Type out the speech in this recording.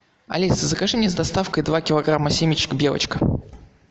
алиса закажи мне с доставкой два килограмма семечек белочка